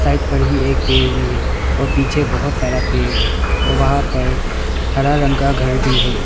Side पर ही एक पेड़ भी है और पीछे बहुत सारा पेड़ है वहा पर हरा रंग का घर भी है।